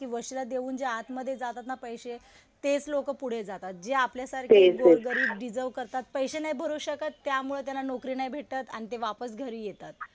कि वशिला देऊन जे आतमध्ये जातात ना पैशे, तेच लोकं पुढे जातात. जे आपल्यासारखे गोरगरीब डिजर्व करतात, पैशे नाही भरू शकत त्यामुळे त्याला नोकरी नाही भेटत. आणि ते वापस घरी येतात.